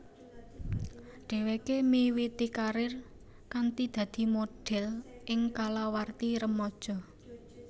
Dhèwèké miwiti karir kanthi dadi modhèl ing kalawarti remaja